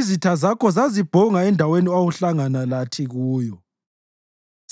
Izitha zakho zazibhonga endaweni owawuhlangana lathi kuyo;